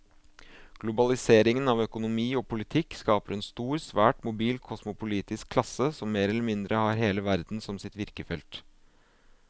Globaliseringen av økonomi og politikk skaper en stor, svært mobil kosmopolitisk klasse som mer eller mindre har hele verden som sitt virkefelt.